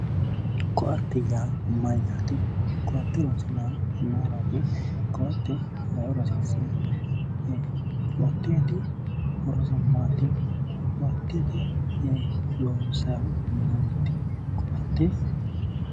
Koatte yaa mayyaate? koatte horonsi'nayiihu maayiiraati? koatte ayeeoora hasiissanno? koatteeti horose maati? koatte loonsaayiihu,, koatte